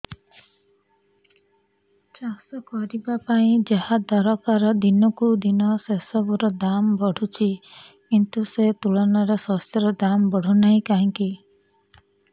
ଚାଷ କରିବା ପାଇଁ ଯାହା ଦରକାର ଦିନକୁ ଦିନ ସେସବୁ ର ଦାମ୍ ବଢୁଛି କିନ୍ତୁ ସେ ତୁଳନାରେ ଶସ୍ୟର ଦାମ୍ ବଢୁନାହିଁ କାହିଁକି